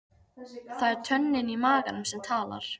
Það er tönnin í maganum sem talar.